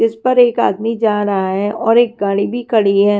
जिस पर एक आदमी जा रहा है और एक गाड़ी भी खड़ी हैं।